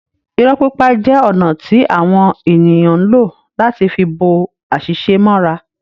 Irọ́ pipa jẹ ọ̀nà ti awọn eniyn ǹ lo láti fi bo àṣìṣe mọ́ra